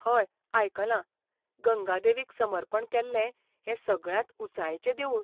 हय, आयकलां. गंगा देवीक समर्पण केल्लें हें सगळ्यांत ऊंचायेचें देवूळ.